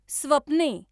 स्वप्ने